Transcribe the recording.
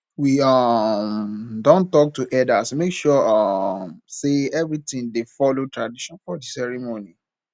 we um don talk to elders make sure um say everything dey follow tradition for di ceremony